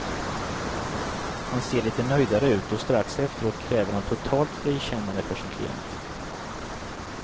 Han ser litet nöjdare ut och strax efteråt kräver han totalt frikännande för sin klient.